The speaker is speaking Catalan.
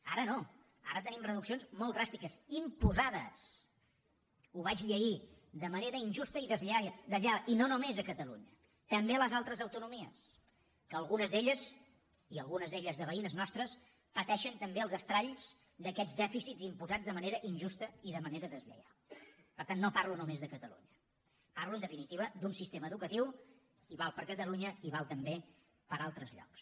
ara no ara tenim reduccions molt dràstiques imposades ho vaig dir ahir de manera injusta i deslleial i no només a catalunya també a les altres autonomies que algunes d’elles i algunes d’elles veïnes nostres pateixen també els estralls d’aquests dèficits imposats de manera injusta i de manera deslleial per tant no parlo només de catalunya parlo en definitiva d’un sistema educatiu i val per a catalunya i val també per a altres llocs